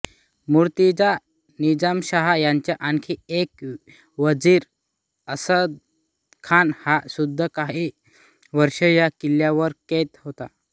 मूर्तिजा निझामशहा याचा आणखी एक वजीर असदखान हा सुद्धा काही वर्षे या किल्ल्यावर कैद होता